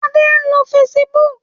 Adé ń lo Facebook.